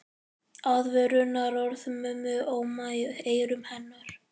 Aðvörunarorð mömmu óma í eyrum hennar.